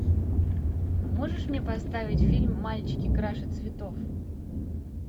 а можешь мне поставить фильм мальчики краше цветов